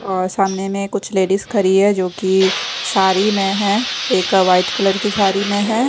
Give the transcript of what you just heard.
और सामने में कुछ लेडिस खड़ी है जो की साड़ी में है एक व्हाइट कलर की साड़ी में है।